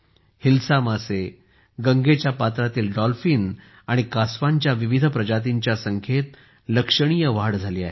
हिल्सा मासे गंगेच्या पत्रातील डॉल्फिन आणि कासवांच्या विविध प्रजातींच्या संख्येत लक्षणीय वाढ झाली आहे